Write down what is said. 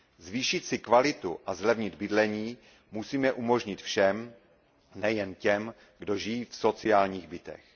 Zvýšit si kvalitu a zlevnit bydlení musíme umožnit všem, nejen těm, kdo žijí v sociálních bytech.